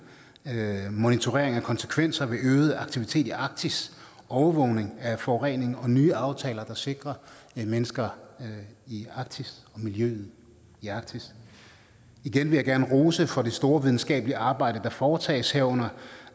monitorering af konsekvenser ved øget aktivitet i arktis overvågning af forurening og nye aftaler der sikrer mennesker i arktis og miljøet i arktis igen vil jeg gerne rose for det store videnskabelige arbejde der foretages herunder